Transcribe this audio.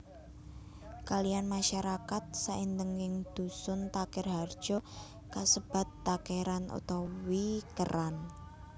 Kaliyan masyarakat saindenging dusun Takerharjo kasebat Takeran utawi Keran